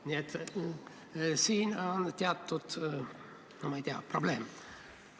Nii et siin on teatud probleem.